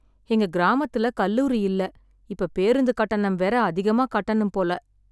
எங்க கிராமத்துல கல்லூரி இல்ல, இப்ப பேருந்து கட்டணம் வேற அதிகமா கட்டணும் போல.